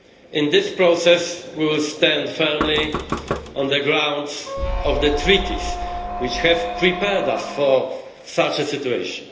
In this process we will stand firmly on the grounds of the Treaties, which have prepared us for such a situation.